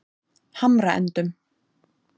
Hamraendum